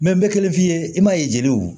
n bɛ kelen f'i ye i m'a ye jeliw